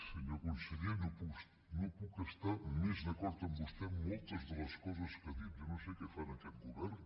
senyor conseller no puc estar més d’acord amb vostè en moltes de les coses que ha dit jo no sé què fa en aquest govern